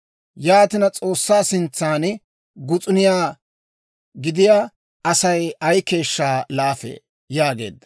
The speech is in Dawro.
Yaatina, S'oossaa sintsan gus'uniyaa gidiyaa Asay ay keeshshaa laafee?» yaageedda.